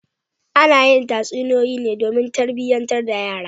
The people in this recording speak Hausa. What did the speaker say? Ana yi tatsunoyoyi ne domin tarbiyantar da yara.